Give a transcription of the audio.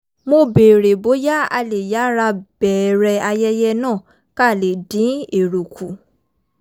mo béèrè bóyá a lè yára bẹ̀ẹ̀rẹ̀ ayẹyẹ náà ká lè dín èrò kù